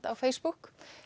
á Facebook